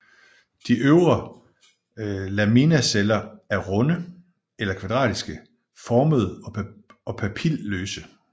De øvre laminaceller er runde eller kvadratisk formede og papilløse